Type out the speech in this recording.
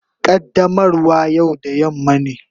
Qaddamarwa yau da yamma ne.